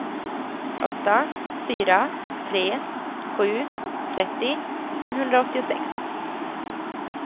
åtta fyra tre sju trettio femhundraåttiosex